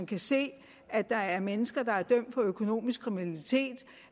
kan se at der er mennesker der er dømt for økonomisk kriminalitet